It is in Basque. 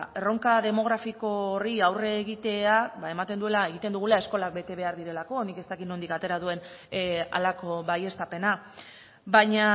erronka demografiko horri aurre egitea ematen duela egiten dugula eskolak bete behar direlako nik ez dakit nondik atera duen halako baieztapena baina